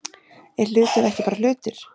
Er hlutur ekki bara hlutur?